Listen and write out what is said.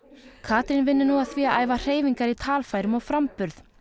Katrín vinnur nú að því að æfa hreyfingar í talfærum og framburð